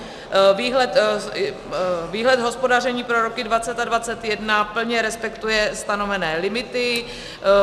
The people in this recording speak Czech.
Výhled hospodaření pro roky 2020 a 2021 plně respektuje stanovené limity.